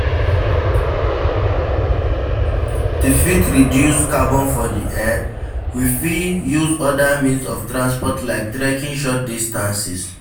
To fit reduce carbon for the air, we fit use oda means of transport like trekking short distances